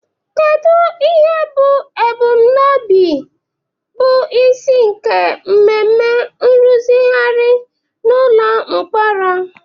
Kedu ihe bụ ebumnobi bụ isi nke mmemme nrụzigharị n'ụlọ mkpọrọ?